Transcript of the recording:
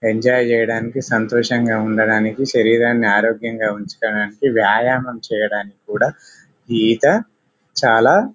enjoy చెయ్యడానికి సంతోషంగా ఉండడానికి శరీరాన్ని ఆరోగ్యంగా ఉచ్చుకోడానికి వ్యాయామంచేయడానికి కూడా ఈత చాలా--